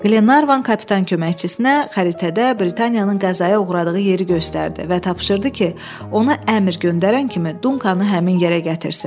Qlenarvan kapitan köməkçisinə xəritədə Britaniyanın qəzaya uğradığı yeri göstərdi və tapşırdı ki, ona əmr göndərən kimi Dunkanı həmin yerə gətirsin.